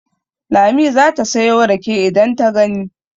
Lami za ta sayo rake idan ta gani.